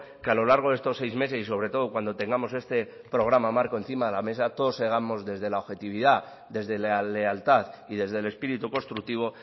que a lo largo de estos seis meses y sobre todo cuando tengamos este programa marco encima de la mesa todo seamos desde la objetividad desde la lealtad y desde el espíritu constructivo